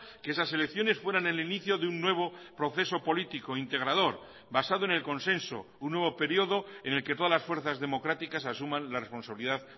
que esas elecciones fueran el inicio de un nuevo proceso político integrador basado en el consenso un nuevo período en el que todas las fuerzas democráticas asuman la responsabilidad